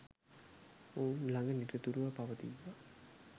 ඔවුන් ළඟ නිරතුරුව පවතීවා